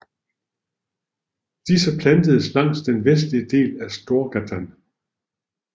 Disse plantedes langs den vestlige del af Storgatan